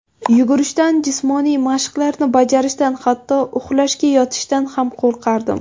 Yugurishdan, jismoniy mashqlarni bajarishdan hatto uxlashga yotishdan ham qo‘rqardim.